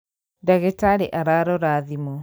Ndagĩtarĩ ararora thimũ